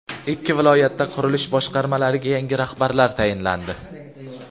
Ikki viloyatda qurilish boshqarmalariga yangi rahbarlar tayinlandi.